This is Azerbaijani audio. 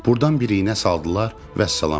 Burdan bir iynə saldılar, vəssalam.